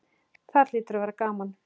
Þar hlýtur að vera gaman.